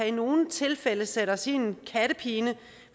i nogle tilfælde kan sætte os i en kattepine